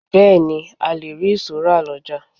Bẹẹni, a le rí ìṣó rà lọjà.